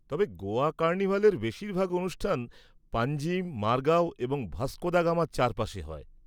তবে গোয়া কার্নিভালের বেশিরভাগ অনুষ্ঠান পাঞ্জিম, মারগাও এবং ভাস্কো দ্য গামার চারপাশে হয়।